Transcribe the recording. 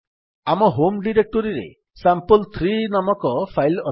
ଆମ ହୋମ୍ ଡିରେକ୍ଟୋରୀରେ ସାମ୍ପଲ୍3 ନାମକ ଫାଇଲ୍ ଅଛି